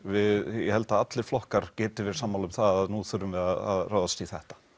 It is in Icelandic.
ég held að allir flokkar geti verið sammála um að nú þurfum við að ráðast í þetta